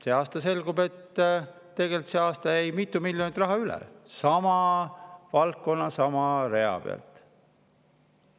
See aasta selgub, et tegelikult see aasta jäi mitu miljonit üle sama valdkonna sama rea pealt.